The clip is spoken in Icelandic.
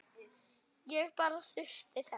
Ég bara þurfti þess.